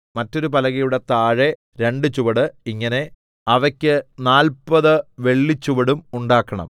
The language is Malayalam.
മറ്റൊരു പലകയുടെ താഴെ രണ്ട് ചുവട് ഇങ്ങനെ അവയ്ക്ക് നാല്പത് വെള്ളിച്ചുവടും ഉണ്ടാക്കണം